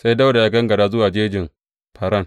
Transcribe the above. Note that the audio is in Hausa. Sai Dawuda ya gangara zuwa cikin Jejin Faran.